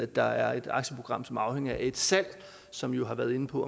der er et aktieprogram som er afhængigt af et salg som vi jo har været inde på